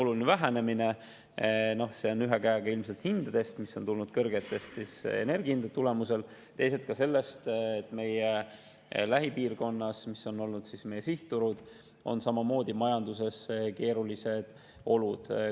See on ühelt poolt ilmselt hindadest, mis on tulnud kõrgete energiahindade tagajärjel, teisalt ka sellest, et meie lähipiirkonnas, mis on olnud meie sihtturud, on samamoodi majanduses keerulised olud.